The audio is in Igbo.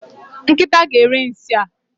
Nkịta ga eri nsị a